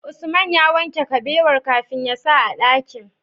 Usman ya wanke kabewar kafin yasa a dakin?